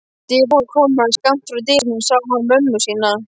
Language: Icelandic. Við kommóðu skammt frá dyrunum sá hann mömmu sína.